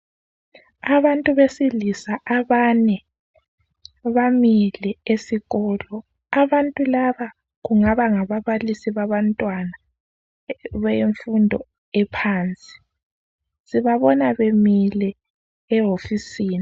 Abantu besilisa abane bamile esikolo. Abantu laba kungaba ngababalisi babantwana bemfundo ephansi. Sibabona bemile ewofisini.